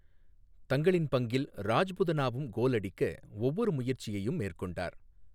தங்களின் பங்கில், ராஜ்புதனாவும் கோல் அடிக்க ஒவ்வொரு முயற்சியையும் மேற்கொண்டார்.